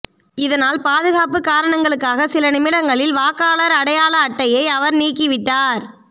இதனால் பாதுகாப்பு காரணங்களுக்காக சில நிமிடங்களில் வாக்காளர் அடையாள அட்டைடையை அவர் நீக்கிவிட்டார்